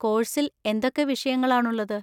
കോഴ്‌സിൽ എന്തൊക്കെ വിഷയങ്ങളാണുള്ളത്?